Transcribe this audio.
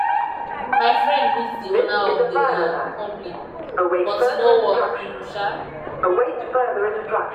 my friend meet the owner of the um company but e no work um um